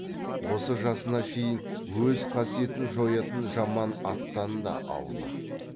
осы жасына шейін өз қасиетін жоятын жаман аттан да аулақ